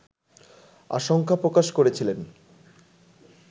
আশঙ্কা প্রকাশ করেছিলেন